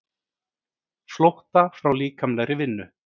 Flótta frá líkamlegri vinnu.